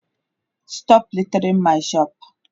Stop littering my shop!